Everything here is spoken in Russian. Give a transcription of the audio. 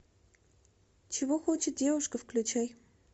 чего хочет девушка включай